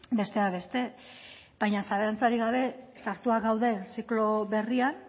besteak beste baina zalantzarik gabe sartuak gauden ziklo berrian